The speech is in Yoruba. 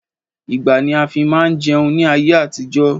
Igbá ni a fi máa ń jẹun ní ayé àtijọ́